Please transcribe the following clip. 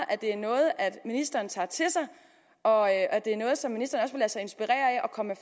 at det er noget ministeren tager til sig og at at det er noget som ministeren også vil lade sig inspirere af og komme